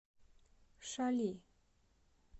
шали